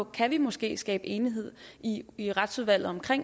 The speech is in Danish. kan vi måske skabe enighed i i retsudvalget om